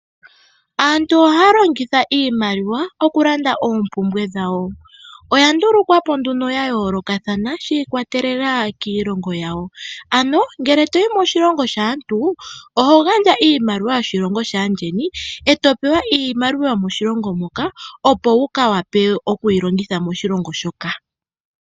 Aantu ohaya longitha iimaliwa okulanda oopumbwe dhawo. Oya ndulukwa po nduno ya yoolokathana shi ikwatelela kiilongo yawo. Ano ngele toyi moshilongo shaantu, oho gandja iimaliwa yoshilongo shaandjeni eto pewa iimaliwa yomoshilongo moka opo wu ka wa pe okuyi longitha moshilongo shoka.